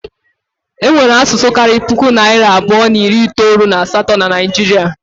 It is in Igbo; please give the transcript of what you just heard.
Enwere asụsụ karịrị puku na narị abụọ na iri itolu na asatọ na Naijiria.